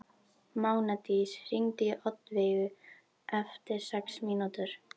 Mánadís, hringdu í Oddveigu eftir sex mínútur.